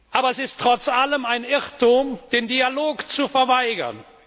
Aber es ist trotz allem ein Irrtum, den Dialog zu verweigern.